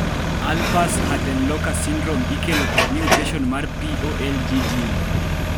Alpers-Huttenlocher syndrome ikelo kod mutation mar POLG gene